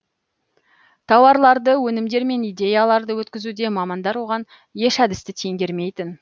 тауарларды өнімдер мен идеяларды өткізуде мамандар оған еш әдісті теңгермейтін